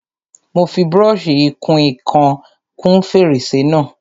Mo fi brọ́ṣì ìkun ìkan kún fèrèsé náà.